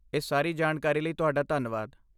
ਇਸ ਸਾਰੀ ਜਾਣਕਾਰੀ ਲਈ ਤੁਹਾਡਾ ਧੰਨਵਾਦ।